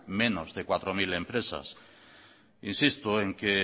menos de cuatro mil empresas insisto en que